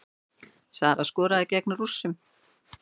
Sara skoraði gegn Rússunum